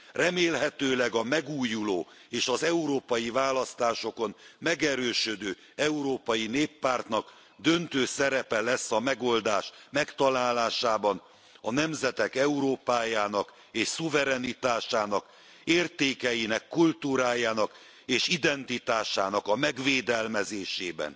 Remélhetőleg a megújuló és az európai választásokon megerősödő Európai Néppártnak döntő szerepe lesz a megoldás megtalálásában, a nemzetek Európájának és szuverenitásának, értékeinek, kultúrájának és identitásának a megvédelmezésében.